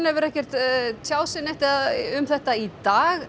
hefur ekki tjáð um þetta í dag